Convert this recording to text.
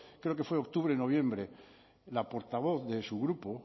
creo que fue octubre o noviembre la portavoz de su grupo